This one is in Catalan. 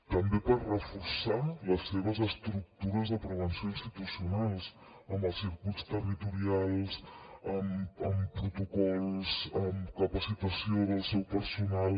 també per reforçar les seves estructures de prevenció institucionals amb els circuits territorials amb protocols amb capacitació del seu personal